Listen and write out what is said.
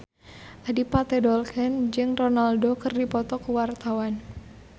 Adipati Dolken jeung Ronaldo keur dipoto ku wartawan